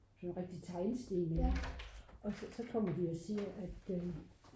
sådan nogle rigtige teglsten og så kommer de og siger at